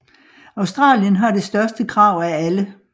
Australien har det største krav af alle